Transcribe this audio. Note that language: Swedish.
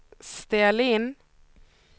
ställ in